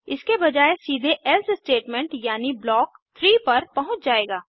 इसके बजाय सीधे एल्से स्टेटमेंट यानी ब्लॉक 3 पर पहुँच जायेगा